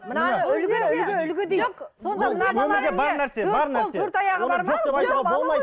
мынаны үлгі үлгі үлгі дейді